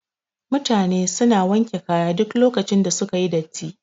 Mutane suna wanke kaya duk lokacin da suka yi datti